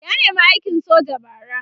ya nema aikin soja bara